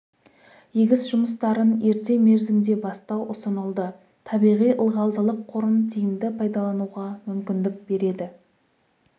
егіс жұмыстарын ерте мерзімде бастау ұсынылды табиғи ылғалдылық қорын тиімді пайдалануға мүмкіндік береді